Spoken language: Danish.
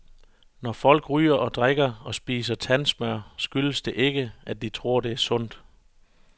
Når folk ryger og drikker og spiser tandsmør skyldes det ikke, at de tror det er sundt.